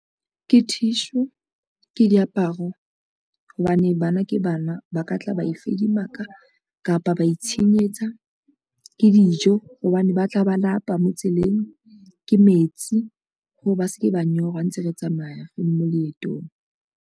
Ke tissue, ke diaparo hobane bana ke bana ba ka tla ba e fedimaka kapa ba itshenyetsa, ke dijo hobane ba tla ba lapa mo tseleng, ke metsi hore ba se ke ba nyorwa ntse re tsamaya re le mo leetong.